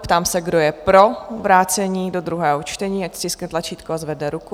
Ptám se, kdo je pro vrácení do druhého čtení, ať stiskne tlačítko a zvedne ruku.